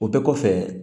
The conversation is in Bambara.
O bɛɛ kɔfɛ